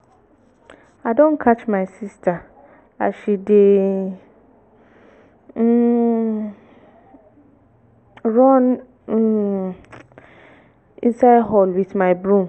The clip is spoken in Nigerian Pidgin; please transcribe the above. i don catch my sister as she dey um um run um inside hall with my broom